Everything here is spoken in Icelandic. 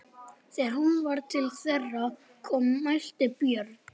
Þegar hún var til þeirra komin mælti Björn: